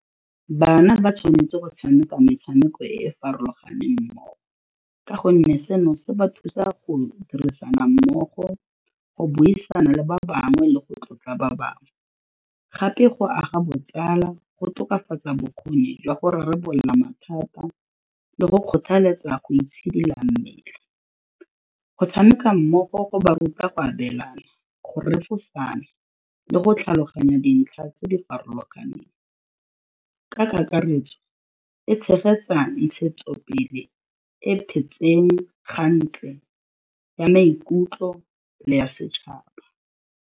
Bana ba tshwanetse go tshameka metshameko e e farologaneng mmogo ka gonne seno se ba thusa go dirisana mmogo, go buisana le ba bangwe le go tlotla ba bangwe, gape go aga botsala, go tokafatsa bokgoni jwa go rarabolola mathata le go kgothaletsa go itshidila mmele, go tshameka mmogo go ba ruta go abelana, go refosana le go tlhaloganya dintlha tse di farologaneng, ka kakaretso e tshegetsa ntshetso pele ya maikutlo le ya setšhaba.